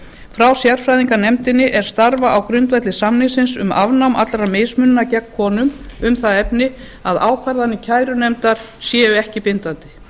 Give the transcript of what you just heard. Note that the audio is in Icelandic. frá sérfræðinganefndinni er starfa á grundvelli samningsins um afnám allrar mismununar gegn konum um það efni að ákvarðanir kærunefndar séu ekki bindandi